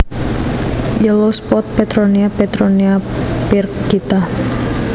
Yellow spotted Petronia Petronia pyrgita